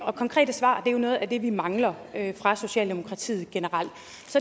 og konkrete svar er jo noget af det vi mangler fra socialdemokratiet generelt